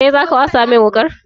Kai zaka wasa min wuƙar?